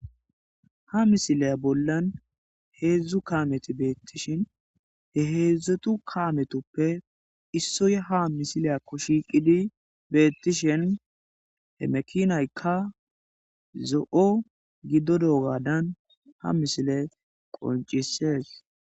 ha misileya bollan heedzdzu kameti beettishin he heedzdzetu kametoppe issoye ha misileyakko shiiqidi beettishen he mekinaykka zo7o gidodo gaadan ha misile qoncisees